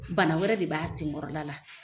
Bana wɛrɛ de b'a sen kɔrɔla la.